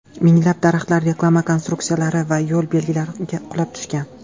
Minglab daraxtlar, reklama konstruksiyalari va yo‘l belgilari qulab tushgan.